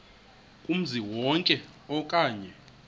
kumzi wonke okanye